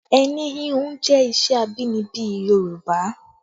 Ẹni híhun jẹ́ iṣẹ́ abínibí Yorùbá